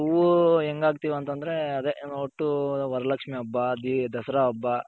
ನಾವ್ ಹೂ ಹೆಂಗ್ ಹಾಕ್ತಿವ್ ಅಂತ ಅಂದ್ರೆ ಅದೆ ಒಟ್ಟು ವರಲಕ್ಷ್ಮಿ ಹಬ್ಬ, ದಸರಾ ಹಬ್ಬ.